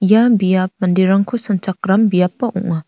ia biap manderangko sanchakram biapba ong·a.